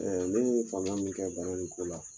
ne ye faamuya min kɛ bana in ko la.